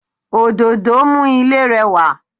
Òdòdó mú ilé rẹwà